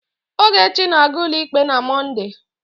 Ogechi ga-aga ụlọikpe na Mọnde.